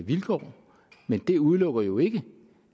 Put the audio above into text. vilkår det udelukker jo ikke